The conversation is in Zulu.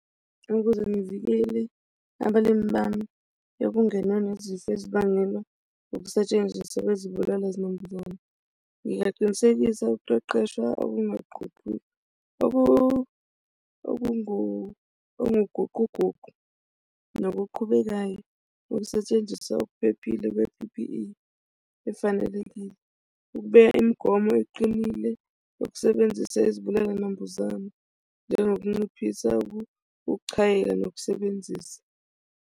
Ukuze ngivikele abalimi bami bokungena nezifo ezibangela ukusetshenziswa kwezibulala zinambuzane, ngingaqinisekisa ukuqeqeshwa okunguguquguqu nokuqhubekayo ukusetshenziswa okuphephile kwe-P_P_E efanelekile. Ukubeka imigomo eqinile yokusebenzisa izibulala zinambuzane njengokunciphisa ukuchayeka nokusebenzisa.